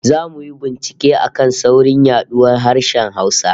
Zamu yi bincike a kan saurin yaduwar harshen Hausa